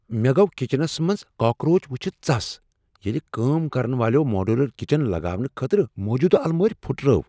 مےٚ گوٚو کچنس منٛز کاکروچ ؤچھتھ ژَس ییٚلہ کٲم كرن والیو ماڈیولر کچن لگاونہٕ خٲطرٕ موجودٕ المارِ پھُٹرٲوِ۔